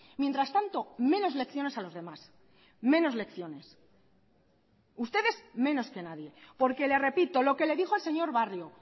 mientras tanto menos lecciones a los demás menos lecciones ustedes menos que nadie porque le repito lo que le dijo el señor barrio